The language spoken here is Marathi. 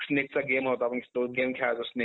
इतकं मनातील ज्या वृत्तीचा अनुभव.